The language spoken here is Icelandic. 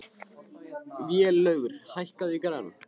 Vélaugur, hækkaðu í græjunum.